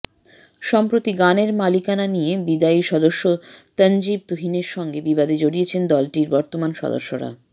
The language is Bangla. সম্প্রতি গানের মালিকানা নিয়ে বিদায়ী সদস্য তানজিব তুহিনের সঙ্গে বিবাদে জড়িয়েছে দলটির বর্তমান সদস্যরা